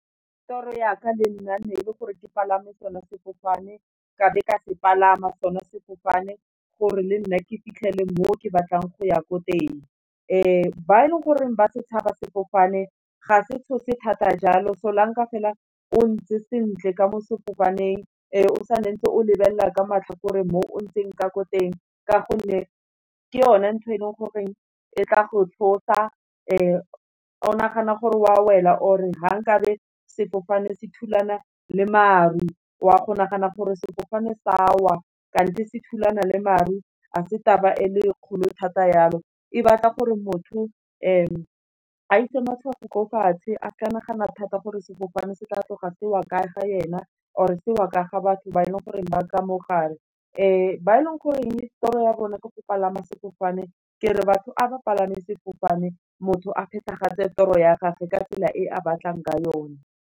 Toro ya ka le nna ne e le gore ke palame sone sefofane, ka be ka se palama sone sefofane, gore le nna ke fitlhele mo ke batlang go ya ko teng, ba e leng gore ba setšhaba sefofane, ga se tshosa thata jalo solanka fela o ntse sentle ka mo sefofaneng, o sa ntse o lebelela ka matlhakore mo ntseng ka ko teng, ka gonne ke yone ntho e leng gore e tla go tshosa, o nagana gore wa wela or fa nkabe sefofane se thulana le maru, wa go nagana gore sefofane sa wa, kante se thulana le maru, a se taba e le kgolo thata yalo, e batla gore motho, a ise matshwao ko fatshe, a sa nagana thata gore sefofane se tla tloga se wa ka ga ena or e seo ka ga batho ba e leng go reng ba ka mo gare, ba e leng goreng tiro ya bona ke go palama sefofane, ke re batho a ba palame sefofane, motho a phetegatse toro ya gage, ka tsela e a batlang ka yone.